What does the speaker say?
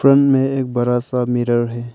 दुकान में एक बड़ा सा मिरर है।